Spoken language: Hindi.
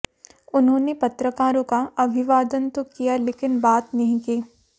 उन्होंने पत्रकारों का अभिवादन तो किया लेकिन बात नहीं की